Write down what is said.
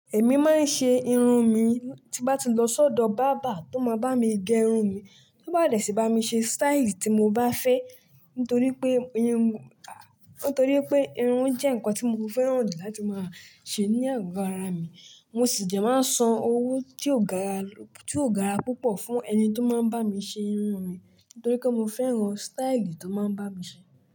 Èmi máa ń ṣe irun mi, tí bá ti lọ sọ́dọ̀ barber tó máa bá mi gẹ irun mi, tó bá de sì bá mi ṣe style tí mo bá fẹ́ nítorí pé ìrún jẹ́ nǹkan tí mo fẹ́ràn jù láti máa ṣe ní àgó ara mi. Mo sì dẹ máa ń san owó tí ó gara púpọ̀ fún ẹni tó máa ń bá mi ṣe irun mi nítorí pé mo fẹ́ràn style tó máa ń bá mi ṣe.